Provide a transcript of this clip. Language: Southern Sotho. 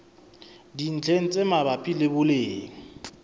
dintlheng tse mabapi le boleng